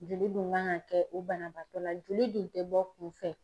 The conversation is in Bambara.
Joli dun kan ka kɛ o banabaatɔ la joli dun tɛ bɔ kun fɛ.